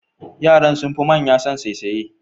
Yaran sun fi manya son saisaye.